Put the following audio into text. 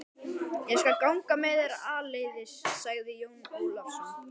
Ég skal ganga með þér áleiðis, sagði Jón Ólafsson.